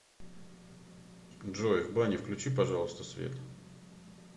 джой в бане включи пожалуйста свет